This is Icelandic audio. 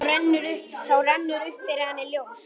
Þá rennur upp fyrir henni ljós.